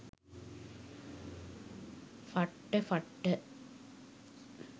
ෆට්ට ෆට්ට.